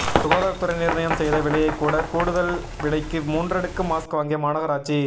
சுகாதாரத்துறை நிர்ணயம் செய்த விலையை விட கூடுதல் விலைக்கு மூன்றடுக்கு மாஸ்க் வாங்கிய மாநகராட்சி